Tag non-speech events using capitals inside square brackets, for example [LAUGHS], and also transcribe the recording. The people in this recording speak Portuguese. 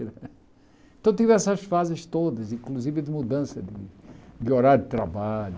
[LAUGHS] Então tive essas fases todas, inclusive de mudança de de horário de trabalho.